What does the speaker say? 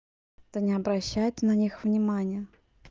да не обращай ты на них внимания